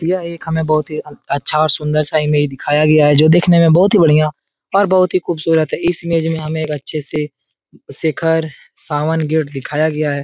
यह एक हमें बहुत ही आ अच्छा और सुन्दर-सा इमेज दिखाया गया है जो दिखने में बहोत ही बढ़िया और बहोत ही खूबसूरत है इस इमेज में हमें एक अच्छे से सेखर सावन गेट दिखाया गया है।